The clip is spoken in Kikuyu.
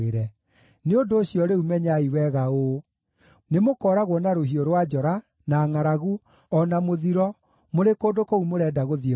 Nĩ ũndũ ũcio, rĩu menyai wega ũũ: Nĩmũkooragwo na rũhiũ rwa njora, na ngʼaragu, o na mũthiro mũrĩ kũndũ kũu mũrenda gũthiĩ gũtũũra.”